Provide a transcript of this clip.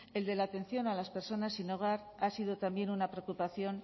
el de la atención a las personas sin hogar ha sido también una preocupación